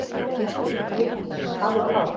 JÓHANNES: Af og frá!